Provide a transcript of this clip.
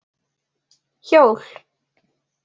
Hjól?